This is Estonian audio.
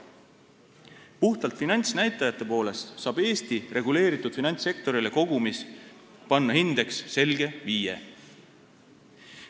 Puhtalt finantsnäitajate poolest saab Eesti reguleeritud finantssektorile kogumis panna hindeks selge viie.